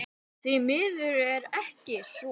Því miður er ekki svo.